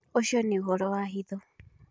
Ũcio nĩ ũhoro wa hitho